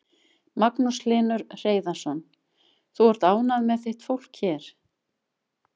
Magnús Hlynur Hreiðarsson: Þú ert ánægð með þitt fólk hér?